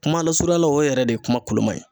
Kuma lasurunyala o yɛrɛ de ye kuma koloman ye.